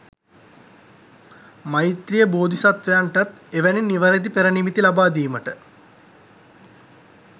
මෛත්‍රීය බෝධිසත්වයන්ටත් එවැනි නිවැරදි පෙරනිමිති ලබාදීමට